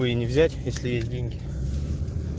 и не взять если есть деньги